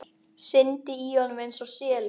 Syndi í honum einsog selur.